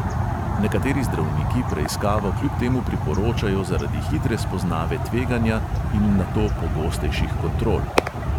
Nekateri zdravniki preiskavo kljub temu priporočajo zaradi hitre spoznave tveganja in nato pogostejših kontrol.